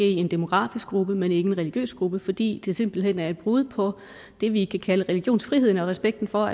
en demografisk gruppe men ikke en religiøs gruppe fordi det simpelt hen er et brud på det vi kan kalde religionsfriheden og respekten for